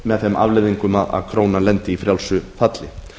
með þeim afleiðingum að krónan lendi í frjálsu falli